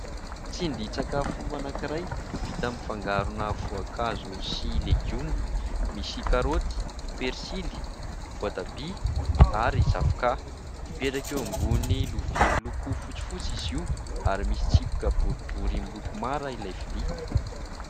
Tsindrin-tsakafo anankiray vita amin'ny fangarona voankazo sy legioma : misy karôty, persily, voatabia ary zavoka. Mipetraka eo ambonin'ny lovia miloko fotsifotsy izy io ary misy tsipika boribory miloko mara ilay vilia.